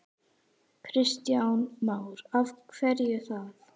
Kristján Már: Af hverju það?